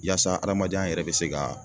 Yaasa adamadenya yɛrɛ bɛ se ka